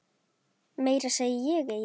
Meira segi ég eigi.